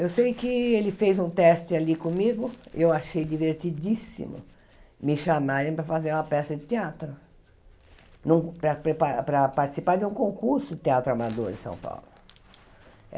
Eu sei que ele fez um teste ali comigo e eu achei divertidíssimo me chamarem para fazer uma peça de teatro, no para prepa para participar de um concurso Teatro Amador em São Paulo.